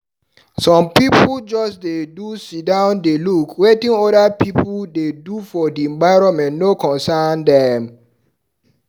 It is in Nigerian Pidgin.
Some pipu just dey do siddon dey look, wetin other pipu dey do for di environment no concern dem.